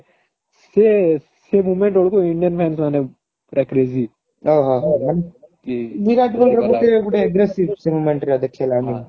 ସେ ସେ moment ବେଳକୁ Indian fans ମାନେ ପୁରା crazy ମାନେ ବିରାଟ କୋହଲିର ଗୋଟେ ଗୋଟେ aggressive ସେ moment ରେ ଦେଖେଇଲା